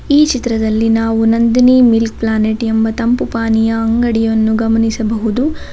ಈ ಚಿತ್ರದಲ್ಲಿ ನಾವು ನಂದಿನಿ ಮಿಲ್ಕ್ ಪ್ಲಾನೆಟ್ ಎಂಬ ತಂಪು ಪಾನೀಯ ಅಂಗಡಿಯನ್ನು ಗಮನಿಸಬಹುದು.